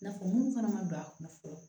Nafa munnu fana ma don a kunna fɔlɔ